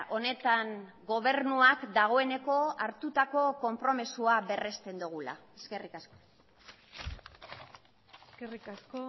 honetan gobernuak dagoeneko hartutako konpromisoa berrezten dugula eskerrik asko eskerrik asko